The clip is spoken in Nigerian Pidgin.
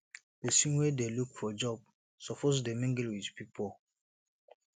pesin wey dey look for job suppose dey mingle with pipo